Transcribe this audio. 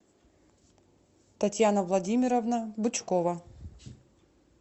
татьяна владимировна бычкова